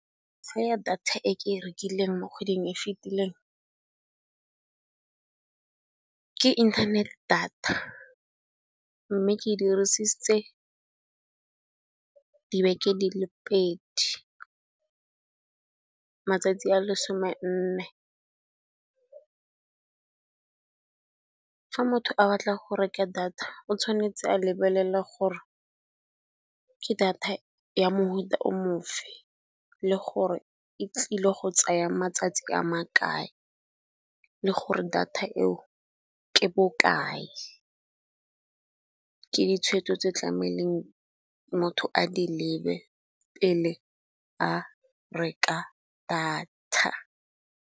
Ya data e ke e rekileng mo kgweding e e fetileng, ke internet data mme ke dirisitse dibeke di le pedi matsatsi a lesome nne. Fa motho a batla go reka data o tshwanetse a lebelela gore ke data ya mohuta o mofe le gore e tlile go tsaya matsatsi a makae le gore data eo ke bokae. Ke ditshwetso tse tlameileng motho a di lebe pele a reka data.